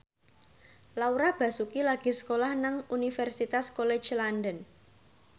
Laura Basuki lagi sekolah nang Universitas College London